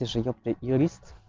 ты же ёпт юрист